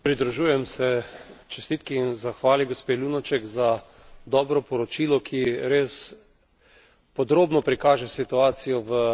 Pridružujem se čestitki in zahvali gospe Lunacek za dobro poročilo, ki res podrobno prikaže situacijo v...